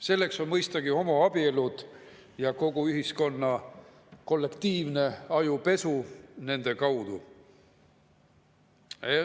Selleks on mõistagi homoabielud ja kogu ühiskonna kollektiivne ajupesu nende kaudu.